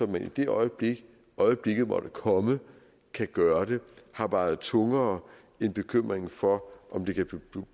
man i det øjeblik øjeblikket måtte komme kan gøre det har vejet tungere end bekymringen for om det kan blive